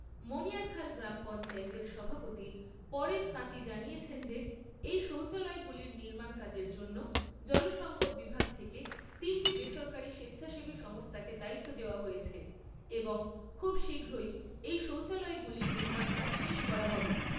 মণিয়ারখাল গ্রাম পঞ্চায়েতের সভাপতি পরেশ তাঁতি জানিয়েছেন যে এই শৌচালয়গুলির নির্মাণ কাজের জন্য জল সম্পদ বিভাগ থেকে তিনটি বেসরকারী স্বেচ্ছাসেবী সংস্থাকে দায়িত্ব দেওয়া হয়েছে এবং খুব শীঘ্রই এই শৌচালয়গুলির নির্মাণ কাজ শেষ করা হবে।